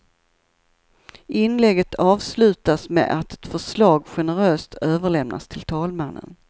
Inlägget avslutas med att ett förslag generöst överlämnas till talmannen.